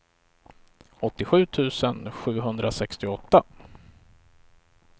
åttiosju tusen sjuhundrasextioåtta